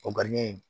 O